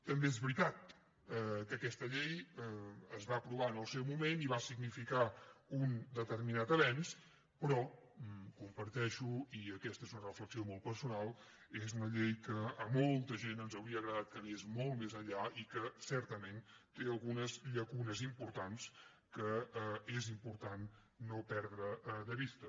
també és veritat que aquesta llei es va aprovar en el seu moment i va significar un determinat avenç però comparteixo i aquesta és una reflexió molt personal que és una llei que a molta gent ens hauria agradat que anés molt més enllà i que certament té algunes llacunes importants que és important no perdre de vista